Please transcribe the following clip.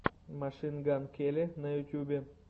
машин ган келли на ютубе